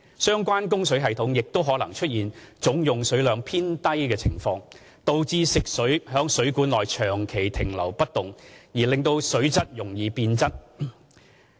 相關供水系統也可能出現總用水量偏低的情況，導致食水在水管內長期停留不動而令水質容易變質。